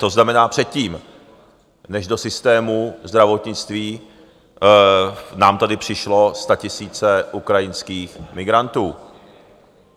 To znamená předtím, než do systému zdravotnictví nám tady přišly statisíce ukrajinských migrantů.